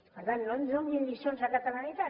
per tant no ens donin lliçons de catalanitat